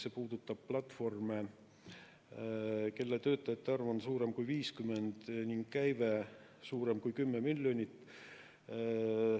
See puudutab platvorme, mille töötajate arv on suurem kui 50 ning käive suurem kui 10 miljonit.